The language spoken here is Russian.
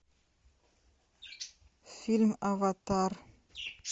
фильм аватар